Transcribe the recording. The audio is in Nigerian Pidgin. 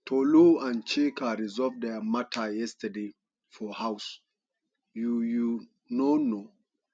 tolu and chika resolve dia matter yesterday for house you you no know